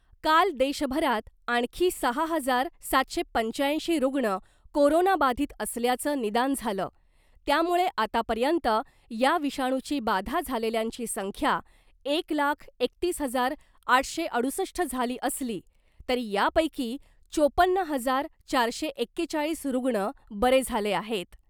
काल देशभरात आणखी सहा हजार सातशे पंच्याऐंशी रुग्ण कोरोना बाधित असल्याचं निदान झालं त्यामुळे आतापर्यंत या विषाणूची बाधा झालेल्यांची संख्या एक लाख एकतीस हजार आठशे अडुसष्ट झाली असली तरी या पैकी चोपन्न हजार चारशे एकेचाळीस रुग्ण बरे झाले आहेत .